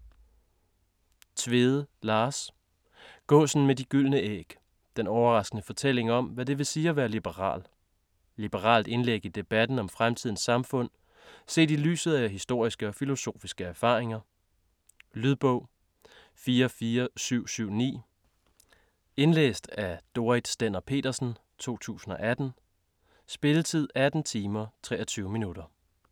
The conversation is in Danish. Tvede, Lars: Gåsen med de gyldne æg: den overraskende fortælling om hvad det vil sige at være liberal Liberalt indlæg i debatten om fremtidens samfund set i lyset af historiske og filosofiske erfaringer. Lydbog 44779 Indlæst af Dorrit Stender-Petersen, 2018. Spilletid: 18 timer, 23 minutter.